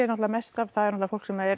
mest af er fólk sem er